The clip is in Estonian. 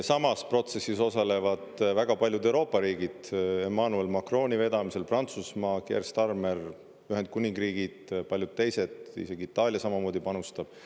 Samas protsessis osalevad väga paljud Euroopa riigid: Emmanuel Macroni vedamisel Prantsusmaa, Keir Starmer Ühendkuningriigid, paljud teised, isegi Itaalia samamoodi panustab.